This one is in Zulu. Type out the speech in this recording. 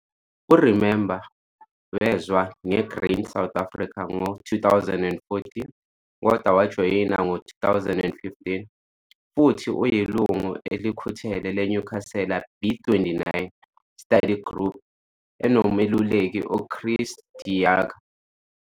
U-Remember wezwa nge-Grain SA ngo-2014 kodwa wajoyina ngo-2015 futhi uyilungu elikhuthele le-Newcastle B29 Study Group enomeluleki uChris de Jager.